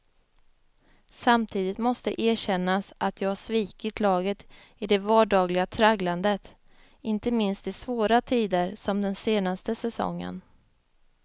Samtidigt måste erkännas att jag svikit laget i det vardagliga tragglandet, inte minst i svåra tider som den senaste säsongen.